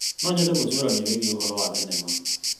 No nyende gũcũrania wĩgiĩ ũhoro wa thenema.